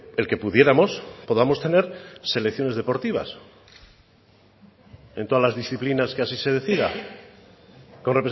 el que pudiéramos podamos tener selecciones deportivas en todas las disciplinas que así se decida con